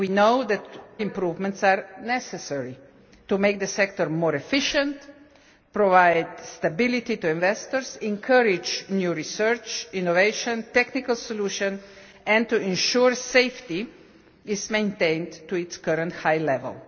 We know that further improvements are necessary to make the sector more efficient, provide stability to investors, encourage new research, innovation and technical solutions, and ensure safety is maintained to its current high level.